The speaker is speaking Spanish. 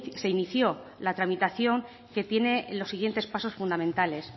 se inició la tramitación que tiene los siguientes pasos fundamentales